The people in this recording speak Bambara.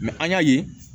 an y'a ye